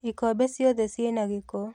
Ikombe ciothe ciĩna gĩko